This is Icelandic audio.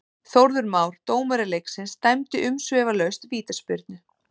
Þórður Már, dómari leiksins dæmdi umsvifalaust vítaspyrnu.